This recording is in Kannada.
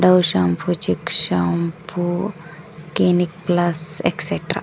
ವು shampoo chik shampoo clinic plus etcetera .